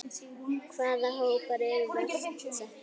Hvaða hópar eru verst settir?